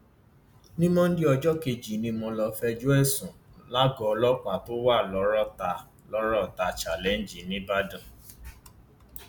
ní monde ọjọ kejì ni mo lọọ fẹjọ ẹ sùn lágọọ ọlọpàá tó wà lọrọta lọrọta challenge nìbàdàn